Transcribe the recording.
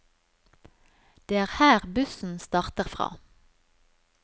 Det er her bussen starter fra.